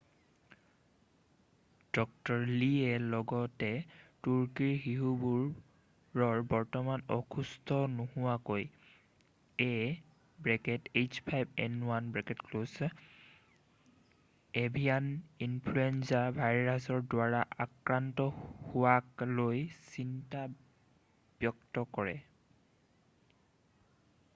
ড. লীয়ে লগতে তুৰ্কীৰ শিশুবোৰ বৰ্তমান অসুস্থ নোহোৱাকৈ ah5n1 এভিয়ান ইনফ্লুৱেঞ্জা ভাইৰাছৰ দ্বাৰা আক্ৰান্ত হোৱাক লৈ চিন্তা ব্যক্ত কৰে।